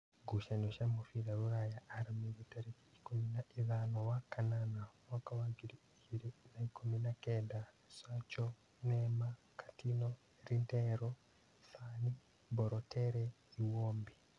Ngucanio cia mũbira Rūraya Aramithi tarĩki ikũmi na ithano wa kanana mwaka wa ngiri igĩrĩ na ikũmi na-kenda: Sacho, Neema, Katino, Rindero, Thani, Mbarotere, Iwombi